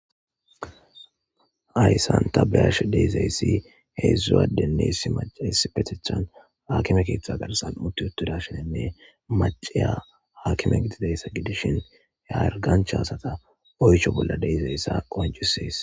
Hayssan ta be'ashe de'izayssi heedzdzu addenne issi maccay issipetethan hakime keeththa garssan uttidashin macciya hakime gididaysa gidishin hargganchcha asata oysho bolla de'izayssa qoncisees.